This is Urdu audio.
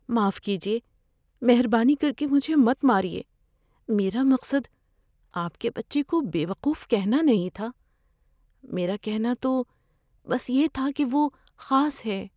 معاف کیجیے، مہربانی کر کے مجھے مت ماریے۔ میرا مقصد آپ کے بچے کو بے وقوف کہنا نہیں تھا۔ میرا کہنا تو بس یہ تھا کہ وہ خاص ہے۔